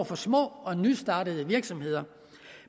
for små og nystartede virksomheder